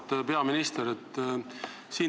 Auväärt peaminister!